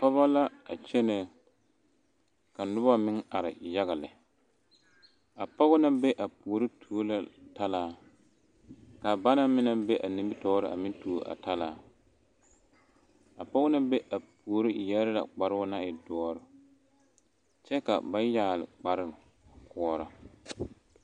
pɔgeba la a kyɛne ka noba meŋ are yaga. lɛ, a pɔgɔ naŋ be puori tuo la talaa, kaa banaŋ meŋ naŋ be a nimitɔre tuo a talaa a pɔge naŋ be a puoriŋ yɛre la kparoo na e doɔre kyɛ ka ba yɛgeli kpare a koɔrɔ